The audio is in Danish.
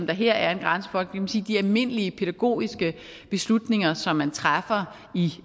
der her er en grænse for i forhold til de almindelige pædagogiske beslutninger som man træffer